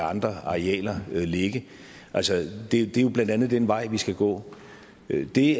andre arealer ligge altså det er jo blandt andet den vej vi skal gå med det